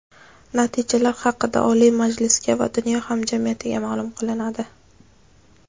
Natijalar haqida Oliy Majlisga va dunyo hamjamiyatiga maʼlum qilinadi.